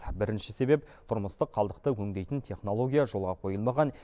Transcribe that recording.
бірінші себеп тұрмыстық қалдықты өңдейтін технология жолға қойылмаған